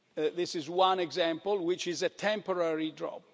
this is one example which is a temporary drop.